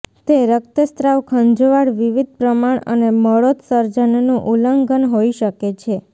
તે રક્તસ્રાવ ખંજવાળ વિવિધ પ્રમાણ અને મળોત્સર્જન નું ઉલ્લંઘન હોઈ શકે છે